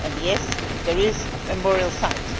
yes, there is a memorial site